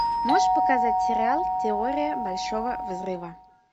можешь показать сериал теория большого взрыва